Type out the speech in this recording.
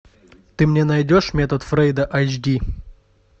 ты мне найдешь метод фрейда айч ди